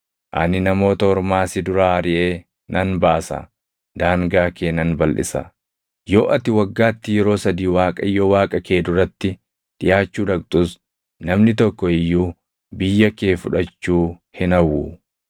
Ani Namoota Ormaa si duraa ariʼee nan baasa; daangaa kee nan balʼisa; yoo ati waggaatti yeroo sadii Waaqayyo Waaqa kee duratti dhiʼaachuu dhaqxus namni tokko iyyuu biyya kee fudhachuu hin hawwu.